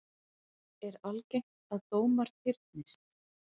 Gunnar Atli: Er algengt að dómar fyrnist?